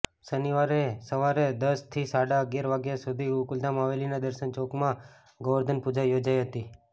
શનિવારે સવારે દસ થી સાડા અગીયાર વાગ્યા સુધી ગોકુલધામ હવેલીના દર્શન ચોકમાં ગોવર્ધનપૂજા યોજાઇ હતી